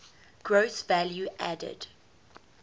gross value added